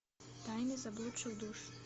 тайны заблудших душ